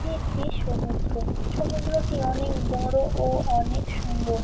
এটি একটি সমুদ্র সমুদ্রটি অনেক বড় ও অনেক সুন্দর।